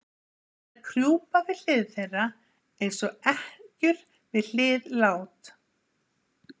Þær krjúpa við hlið þeirra, eins og ekkjur við hlið lát